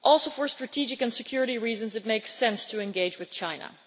For strategic and security reasons, too, it makes sense to engage with China.